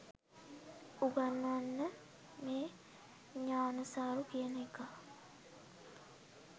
උගන්වන්න මේ ඥානසාරු කියන එකා